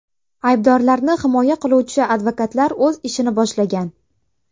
Aybdorlarni himoya qiluvchi advokatlar o‘z ishini boshlagan.